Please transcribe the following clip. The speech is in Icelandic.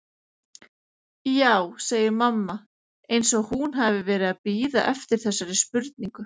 Já, segir mamma eins og hún hafi verið að bíða eftir þessari spurningu.